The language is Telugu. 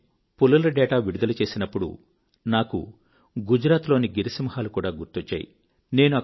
నేను పులుల డేటా విడుదల చేసేటప్పుడు నాకు గుజరాత్ లోని గిర్ సింహాలు కూడా గుర్తొచ్చాయి